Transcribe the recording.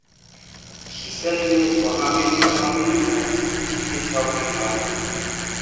she set limit for how many how many times she fit help with money